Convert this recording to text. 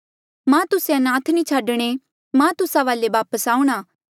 मां तुस्से अनाथ नी छाडणे मां तुस्सा वाले वापस आऊंणा